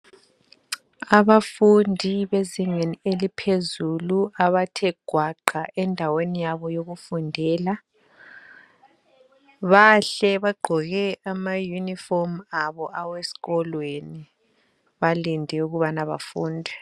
Abafundi bezingeni eliphezulu abathe gwaqa endaweni yabo yokufundela, bahle bagqoke amayunifomu abo aweskolweni balinde ukubana bafunde.